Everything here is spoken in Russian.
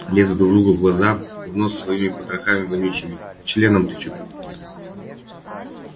лезут друг другу в глаза в нос своими потрохами вонючими членом тычут